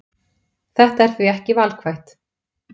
Þetta er því ekki valkvætt